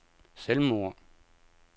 selvmord